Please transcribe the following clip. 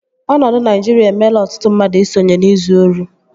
Ọnọdụ Naijiria emela ọtụtụ mmadụ i sonye n'izu ori